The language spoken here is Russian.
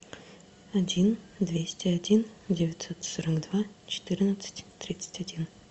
один двести один девятьсот сорок два четырнадцать тридцать один